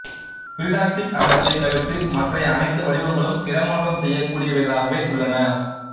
pyridoxic அமிலத்தைத் தவிர்த்து மற்றைய அனைத்து வடிவங்களும் இடைமாற்றம் செய்யகூடியவைகளாகவே உள்ளன